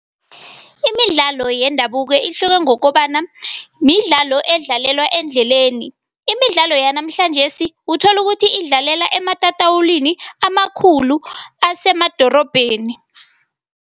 Imidlalo yendabuko ihluke ngokobana midlalo edlalewa endleleni. Imidlalo yanamhlanjesi uthola ukuthi idlalelwa ematatawulini amakhulu, asemadorobheni.